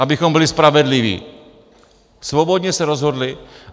Abychom byli spravedliví, svobodně se rozhodli.